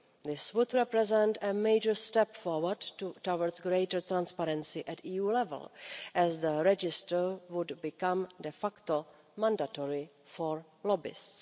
This would represent a major step forward towards greater transparency at EU level, as the register would become de facto mandatory for lobbyists.